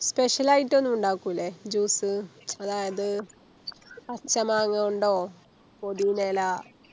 Special ആയിട്ടൊന്നും ഇണ്ടാക്കുലെ Juice അതായത് പച്ച മാങ്ങ കൊണ്ടോ പൊതീന ഇല